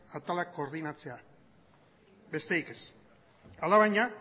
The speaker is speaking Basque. atalak koordinatzea besterik ez alabaina